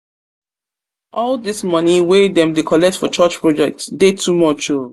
all dese moni wey dem dey collect for church project dey too much o.